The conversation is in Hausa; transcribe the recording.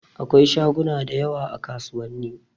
Akwai shaguna da yawa a kasuwanni.